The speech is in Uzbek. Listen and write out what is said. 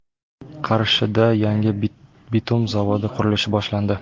Qarshida yangi bitum zavodi qurilishi boshlandi.